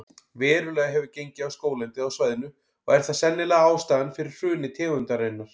Verulega hefur gengið á skóglendið á svæðinu og er það sennilega ástæðan fyrir hruni tegundarinnar.